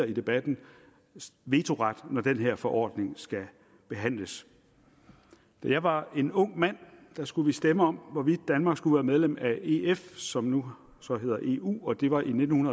i debatten vetoret når den her forordning skal behandles da jeg var en ung mand skulle vi stemme om hvorvidt danmark skulle være medlem af ef som nu hedder eu det var i nitten